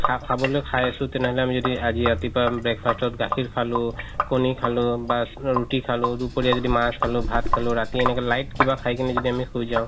খা খাবলৈ খাই আছো তেনেহ'লে আমি যদি আজি ৰাতিপুৱা breakfast ত গাখীৰ খালো কণী খালো বা ৰুতি খালো বা দুপৰীয়া যদি মাছ খালো ভাত খালো ৰাতি এনেকে light কিবা খাই কিনে যদি শুই যাও